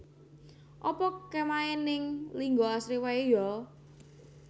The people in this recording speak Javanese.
Apa kemahe ning Linggo Asri wae yo?